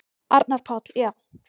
Arnar Páll: Já.